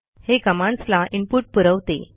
हे कमांडस् ला इनपुट पुरवते